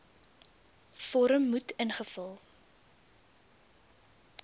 vorm moet ingevul